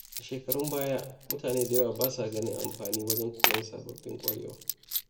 A shekarun baya, mutane da yawa ba sa ganin amfani wajen koyon sababbin ƙwarewa.